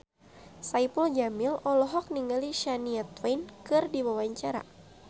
Saipul Jamil olohok ningali Shania Twain keur diwawancara